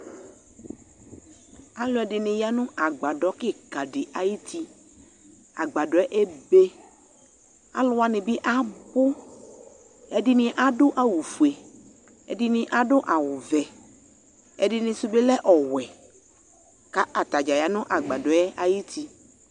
Alɔde ne ya no agbadɔ kika de ayitiAgbasɔɛ ebe , alu wane be abuɛde ne ado awufue, ɛde ne ado awuvɛ, ɛdene so be lɛ ɔwɛ ka ata dza ya no agbadɔɛ ayiti